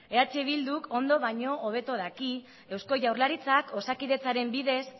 eh bilduk ondo baino hobeto daki eusko jaurlaritzak osakidetzaren bidez